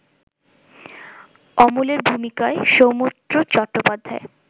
অমলের ভূমিকায় সৌমিত্র চট্টোপাধ্যায়